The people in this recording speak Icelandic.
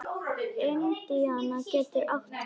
Indiana getur átt við